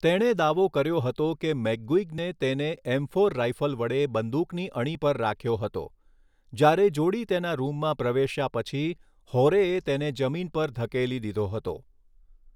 તેણે દાવો કર્યો હતો કે મેકગુઇગને તેને એમ ફોર રાઇફલ વડે બંદૂકની અણી પર રાખ્યો હતો જ્યારે જોડી તેના રૂમમાં પ્રવેશ્યા પછી હોરેએ તેને જમીન પર ધકેલી દીધો હતો.